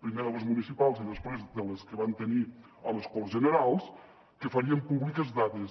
primer de les municipals i després de les que van tenir a les corts generals que farien públiques dades